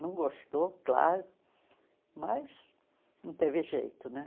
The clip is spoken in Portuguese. Não gostou, claro, mas não teve jeito, né?